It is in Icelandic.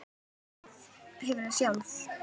Hefurðu sjálf?